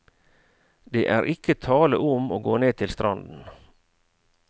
Det er ikke tale om å gå ned til stranden.